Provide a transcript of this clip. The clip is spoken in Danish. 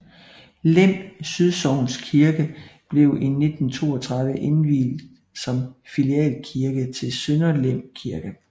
Lem Sydsogns Kirke blev i 1932 indviet som filialkirke til Sønder Lem Kirke